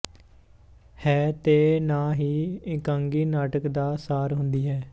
ਹੈ ਤੇ ਨਾ ਹੀ ਇਕਾਂਗੀ ਨਾਟਕ ਦਾ ਸਾਰ ਹੁੰਦੀ ਹੈ